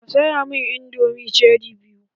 Ka saya mun indomin cheri biyu!